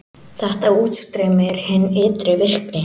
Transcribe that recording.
Þetta útstreymi er hin ytri virkni.